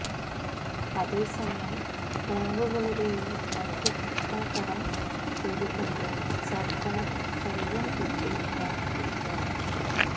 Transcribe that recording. അതേസമയം ബാങ്കുകളുടെയും മറ്റും കിട്ടാകടം പെരുകുമ്പോള് സര്ക്കാര് കൈയും കെട്ടി നോക്കിയിരിക്കുന്നു